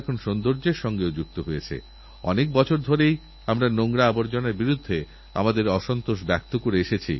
নেলসনম্যাণ্ডেলার ঘনিষ্ঠ সঙ্গী Ahmed Kathrada Laloo Chiba George Bizos Ronnie কাসরিল্সেরমতো মহান ব্যক্তিদের দর্শন করার সৌভাগ্য আমার হয়েছিল